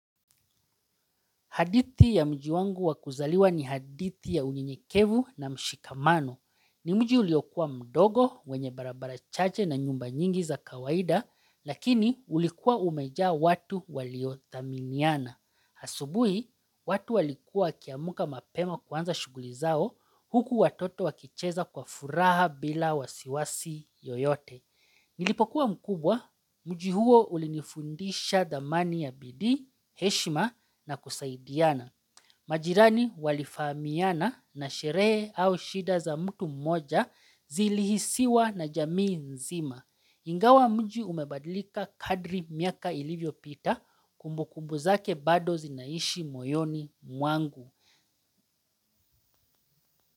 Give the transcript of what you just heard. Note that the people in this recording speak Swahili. Hadithi ya mji wangu wa kuzaliwa ni hadithi ya unyenyekevu na mshikamano. Ni mji uliokuwa mdogo, wenye barabara chache na nyumba nyingi za kawaida, lakini ulikuwa umejaa watu waliodhaminiana. Asubuhi, watu walikuwa wakiamka mapema kuanza shughuli zao, huku watoto wakicheza kwa furaha bila wasiwasi yoyote. Nilipokuwa mkubwa, mji huo ulinifundisha dhamani ya bidii, heshima na kusaidiana. Majirani walifahamiana na sherehe au shida za mtu mmoja zilihisiwa na jamii nzima. Ingawa mji umebadilika kadri miaka ilivyopita, kumbukumbu zake bado zinaishi moyoni mwangu.